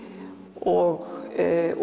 og